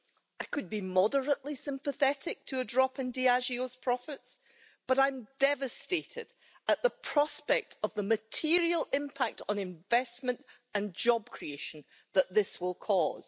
I could be moderately sympathetic to a drop in Diageo's profits, but I'm devastated at the prospect of the material impact on investment and job creation that this will cause.